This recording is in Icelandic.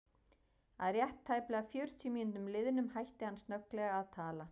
Að rétt tæplega fjörutíu mínútum liðnum hætti hann snögglega að tala.